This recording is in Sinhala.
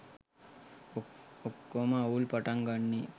ඔක්කොම අවුල් පටන් ගන්නේ